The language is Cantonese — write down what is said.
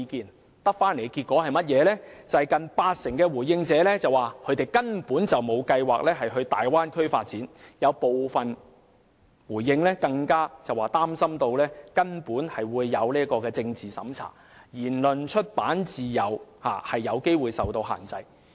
他們所得的結果，是近八成回應者表示根本沒有計劃前往大灣區發展，有部分回應者更表示擔心會有政治審查，言論及出版自由有機會受限制。